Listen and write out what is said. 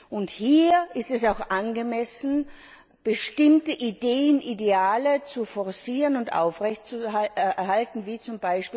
Und hier ist es auch angemessen, bestimmte Ideen und Ideale zu forcieren und aufrechtzuerhalten wie z.